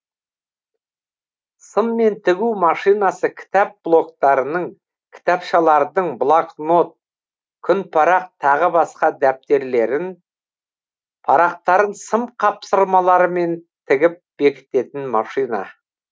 сыммен тігу машинасы кітап блоктарының кітапшалардың блокнот күнпарақ тағы басқа дәптерлерін парақтарын сым қапсырмаларымен тігіп бекітетін машина